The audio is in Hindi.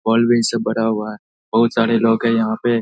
भरा हुआ हैं। बहुत सारे लोग हैं यहाँ पे ।